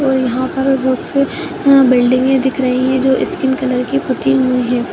और यहाँँ पर बोहोत से यहाँँ बिल्ड़िंगे दिख रही हैं जो इस्किन कलर की पुती हुई हैं।